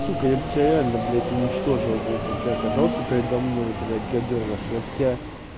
сука я бы тебя реально блядь уничтожил бы если бы ты оказался передо мной блядь гадёныш я бы тебя